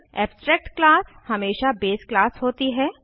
abstract class हमेशा base class होती है